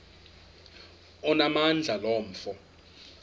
onamandla lo mfo